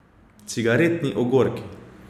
Cigaretni ogorki.